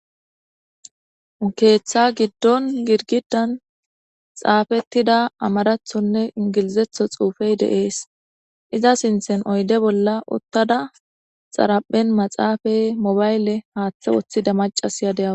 Keeththa giddon girgidan xaafettida amarathonne ingilizetho xuufey deees iza sinthen oyde bolla uttada xaraphen maxaafay mobayle haaththe woththida macasya de7awa